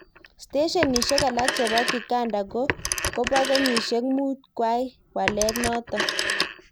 Steshenishek alak chebo kikanda kobo kenyishek mut kwai walet notok.